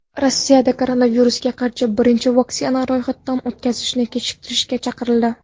Rossiyada koronavirusga qarshi birinchi vaksinani ro‘yxatdan o‘tkazishni kechiktirishga chaqirildi.